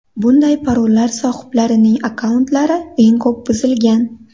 Bunday parollar sohiblarining akkauntlari eng ko‘p buzilgan.